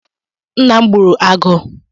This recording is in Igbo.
Nna m gbụrụ agụ